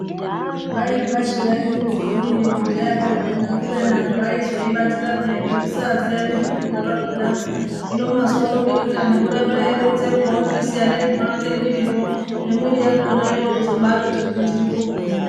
Dai kwashi yaimbozodini kudhaya kwakona kubeni antu aizotoibatira peya ngekusaziya nezvekurya kwakonako, hino mazuwano ngekuti anhu oramba eironzerwa, ozviziya nezvino ake mwirizvo ngemwiri yakona yabaazoti ngwindiri kugwinya.